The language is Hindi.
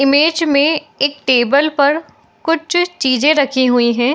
इमेज में एक टेबल पर कुछ चीजें रखी हुई है।